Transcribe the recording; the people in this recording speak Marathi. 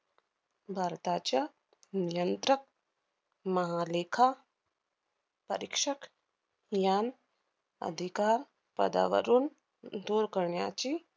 भारताच्या नियंत्रक, महालेखा परीक्षक यां~ अधिकार पदावरून दूर करण्याचे